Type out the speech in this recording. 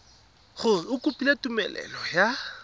gore o kopile tumelelo ya